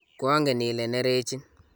koangen ile nerechi